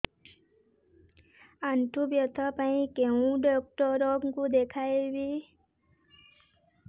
ଆଣ୍ଠୁ ବ୍ୟଥା ପାଇଁ କୋଉ ଡକ୍ଟର ଙ୍କୁ ଦେଖେଇବି